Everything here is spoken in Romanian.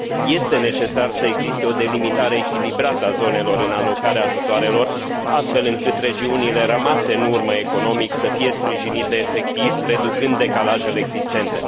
Este necesar să existe o delimitare echilibrată a zonelor în alocarea ajutoarelor, astfel încât regiunile rămase în urmă economic să fie sprijinite efectiv, reducând decalajele existente.